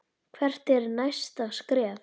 Hvert er næsta skref?